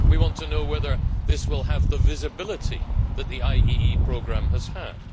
We want to know whether this will have the visibility that the IEE programme has had.